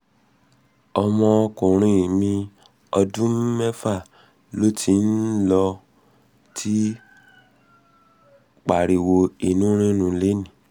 ọmọkùnrin mi ọmọ ọdún méfà ló ti ń ló ti ń pariwo inú rírun lénìí